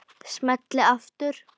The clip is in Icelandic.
Smelli aftur.